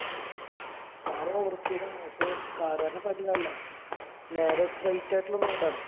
car over speed ആണ്. പക്ഷെ car കാരന്റെ അല്ല. നേരെ straight ആയിട്ടുള്ള road ആണ്.